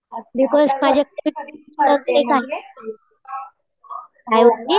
because माझ्याकडे